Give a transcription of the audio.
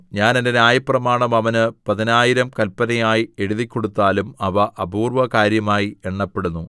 ഞാൻ എന്റെ ന്യായപ്രമാണം അവന് പതിനായിരം കല്പനയായി എഴുതിക്കൊടുത്താലും അവ അപൂർവ്വകാര്യമായി എണ്ണപ്പെടുന്നു